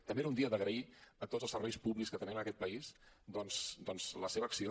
també era un dia d’agrair a tots els serveis públics que tenim en aquest país la seva acció